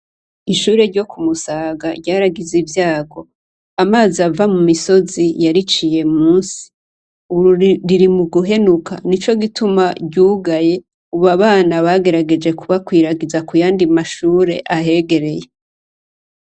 Ishure ryo ku Musaga, ryaragize ivyago, amazi ava mu misozi bariciye munsi, ubu riri muguhenuka, nico gituma ryugaye, ubu abana bagerageje kuhakwiragiza kuyandi mashure ahegereye.